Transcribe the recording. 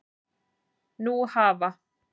Nú hafa